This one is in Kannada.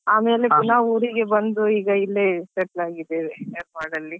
ಆಮೇಲೆ ಪುನಾ ಊರಿಗೆ ಬಂದು ಈಗ ಇಲ್ಲೇ settle ಆಗಿದ್ದೇವೆ Yermal ಅಲ್ಲಿ.